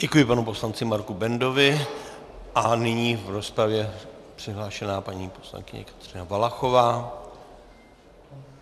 Děkuji panu poslanci Marku Bendovi a nyní v rozpravě přihlášená paní poslankyně Kateřina Valachová.